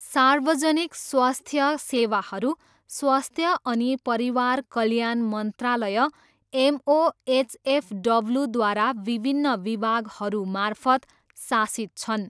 सार्वजनिक स्वास्थ्य सेवाहरू स्वास्थ्य अनि परिवार कल्याण मन्त्रालय एमओएचएफडब्ल्यूद्वारा विभिन्न विभागहरूमार्फत शासित छन्।